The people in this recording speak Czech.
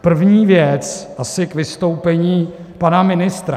První věc - asi k vystoupení pana ministra.